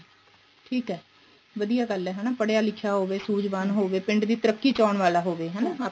ਠੀਕ ਏ ਵਧੀਆ ਗੱਲ ਹੈ ਹਨਾਂ ਪੜਿਆ ਲਿਖਿਆਂ ਹੋਵੇ ਸੂਝਵਾਨ ਹੋਵੇ ਪਿੰਡ ਦੀ ਤਰੱਕੀ ਚਾਉਣ ਵਾਲਾ ਹੋਵੇ ਹਨਾ